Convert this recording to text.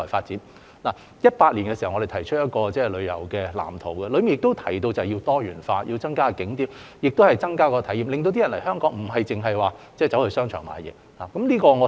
2017年，我們提出了一個旅遊業發展藍圖，當中提到要多元化、增加並優化景點及提升旅客體驗，令旅客來港不止為了到商場購物。